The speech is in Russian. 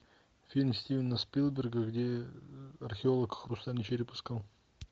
фильм стивена спилберга где археолог хрустальный череп искал